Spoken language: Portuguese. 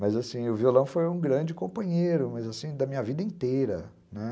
Mas assim, o violão foi um grande companheiro, mas assim, da minha vida inteira, né?